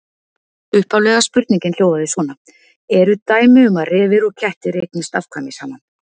Upphaflega spurningin hljóðaði svona: Eru dæmi um að refir og kettir eignist afkvæmi saman?